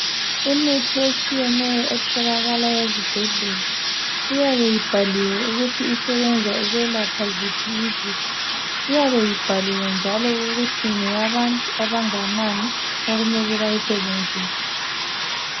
Imithi etshiyeneyo etholakala ezibhedlela iyabe ibhaliwe ukuthi isebenza ukwelapha ziphi izifo iyabe ibhaliwe njalo ukuthi ngeyabantu abanganani okumele bayisebenzise